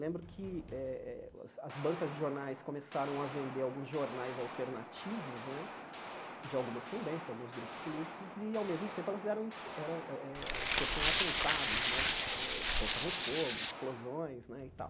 Lembro que eh eh as bancas de jornais começaram a vender alguns jornais alternativos né, de algumas tendências, alguns grupos políticos, e ao mesmo tempo elas eram eram eh eh sofriam atentados né, eh colocavam fogo, explosões né e tal.